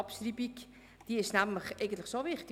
Die Abschreibung ist nämlich schon wichtig.